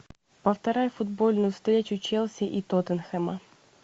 повторяй футбольную встречу челси и тоттенхэма